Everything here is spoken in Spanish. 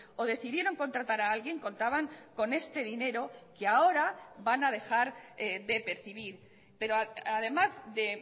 o decidieron contratar a alguien contaban con este dinero que ahora van a dejar de percibir pero además de